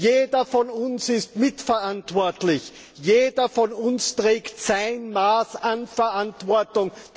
Jeder von uns ist mitverantwortlich, jeder von uns trägt sein Maß an Verantwortung.